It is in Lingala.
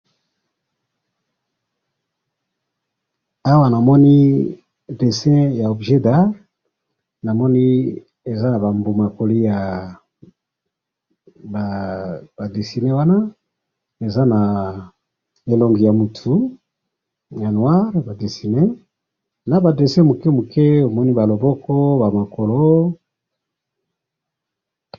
Awa namoni dessin ya objet d'art ,namoni eza na ba mbuma ya ko lia ba dessiner wana ,eza na elongi ya mutu ya noire ba dessiner ,na ba dessin muke muke omoni ba loboko ba makolo